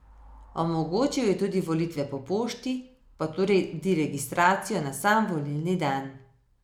Omogočil je tudi volitve po pošti, pa tudi registracijo na sam volilni dan.